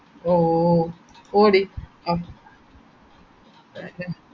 ഏ പിന്നെ വേറെ എന്താ അത്കൊണ്ട് ഹിസൂ